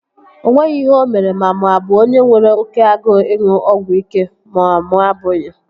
O nweghị ihe o mere ma mụ a bụ onye nwere oké agụụ ịṅụ ọgwụ ike ma mụ abụghị